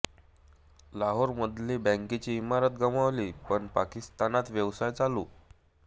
लाहोरमधली बँकेची इमारत गमावली पण पाकिस्तानात व्यवसाय चालू